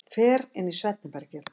Fer inn í svefnherbergið.